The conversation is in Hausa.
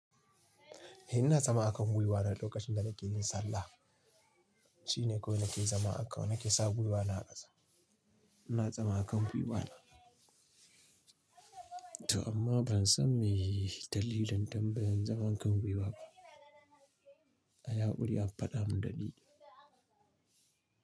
Eh ina zama a kan gwiwana lokacin da nake yin sallah. Shine kawai nake zama a kan nake sa gwiwana a ƙasa. Ina zama a kan gwiwana. To amma ban san mene dalilin tambayan zaman kan gwiwa ba. A yi haƙuri a faɗa mun dalili.